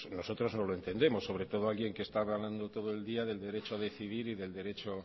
nosotros no lo entendemos sobre todo alguien que está hablando todo el día del derecho a decidir y del derecho